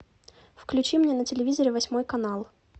включи мне на телевизоре восьмой канал